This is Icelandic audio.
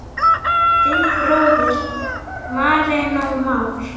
Þinn bróðir, Marinó Már.